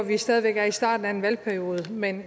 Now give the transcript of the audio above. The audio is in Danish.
vi stadig væk er i starten af en valgperiode men